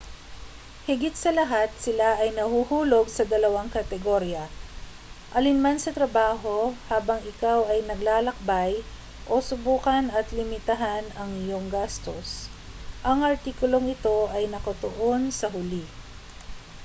higit sa lahat sila ay nahuhulog sa dalawang kategorya alinman sa trabaho habang ikaw ay naglalakbay o subukan at limitahan ang iyong gastos ang artikulong ito ay nakatuon sa huli